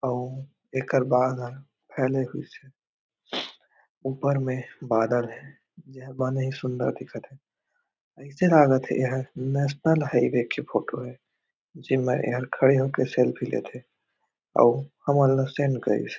अउ एकर बाद ह फैले होइस हे ऊपर में बादल हे जेह बने सुन्दर दिखत हे अइसे हालत हे एहर नेशनल हाइवे के फोटो हे जेन मे एहर खड़े हो के सेल्फी लेत हे आउ हे हमन ल सेंड करिस हे।